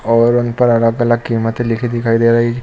और उन पर अलग अलग कीमत लिखी दिखाई दे रही।